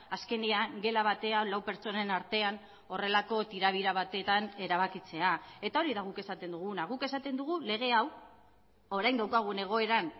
azkenean gela batean lau pertsonen artean horrelako tirabira batetan erabakitzea eta hori da guk esaten duguna guk esaten dugu lege hau orain daukagun egoeran